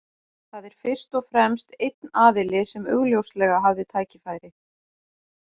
Það er fyrst og fremst einn aðili sem augljóslega hafði tækifæri.